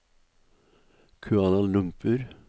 Kuala Lumpur